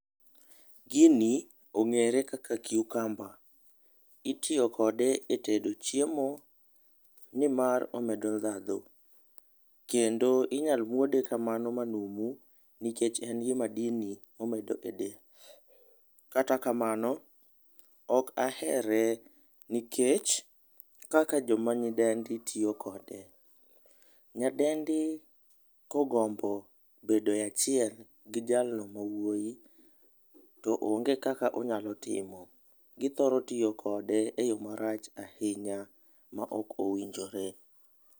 Gini ong'ere kaka cucumber, itiyo kode e tedo chiemo ni mar omedo dhandho. Kendo inyal muode kamano ma numu nikech en gi madini ma omedo e del. Kata kamano, ok ahere nikech kaka joma nyidendi tiyo kode. Nyadendi ka ogombo bedo e achiel gi jalno ma wuoyi to onge kaka onyalo timo, gi thoro tiyo kode e yo marach ahinya ma ok owinjore.